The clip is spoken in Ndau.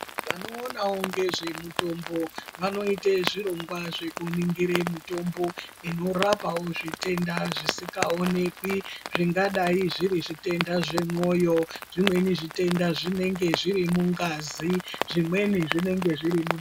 Vanoonawo nezvemitombo vanoite zvirongwa zvekuningire mitombo inorapawo zvitenda zvisikaonekwi zvingadai zviri zvitenda zvemwoyo zvimweni zvitenda zvinenge zviri mungazi, zvimwe zvinenge zviri